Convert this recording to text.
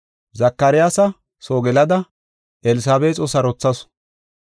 Zakaryaasa soo gelada Elsabeexo sarothasu.